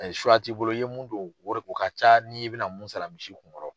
Ayi t'i bolo i ye mun don o de ko o ka ca ni i bɛ na mun sara misi kun kɔrɔ.